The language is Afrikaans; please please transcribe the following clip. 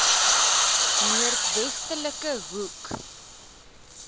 noord westelike hoek